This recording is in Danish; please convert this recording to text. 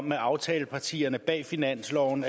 med aftalepartierne bag finansloven